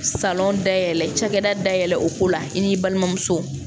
Salɔn dayɛlɛ cakɛda dayɛlɛ o ko la i n'i balimamuso